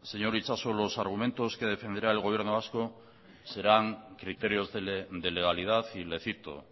señor itxaso los argumentos que defenderá el gobierno vasco serán criterios de legalidad y le cito